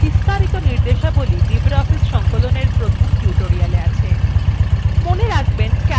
বিস্তারিত নির্দেশাবলী libreoffice সংকলনএর প্রথম tutorialএ আছে